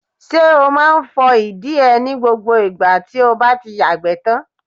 Ṣé o máa ń fọ ìdí ẹ ní gbogbo ìgbà tí o bá ti yàgbẹ́ tán.